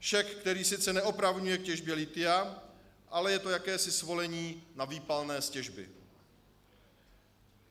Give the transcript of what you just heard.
Šek, který sice neopravňuje k těžbě lithia, ale je to jakési svolení na výpalné z těžby.